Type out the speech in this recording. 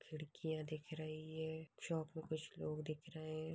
खिड़कियां दिख रही है शॉप में कुछ लोग दिख रहे है।